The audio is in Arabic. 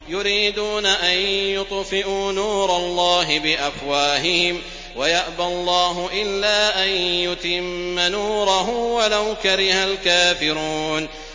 يُرِيدُونَ أَن يُطْفِئُوا نُورَ اللَّهِ بِأَفْوَاهِهِمْ وَيَأْبَى اللَّهُ إِلَّا أَن يُتِمَّ نُورَهُ وَلَوْ كَرِهَ الْكَافِرُونَ